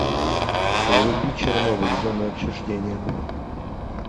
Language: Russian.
вруби чернобыль зона отчуждения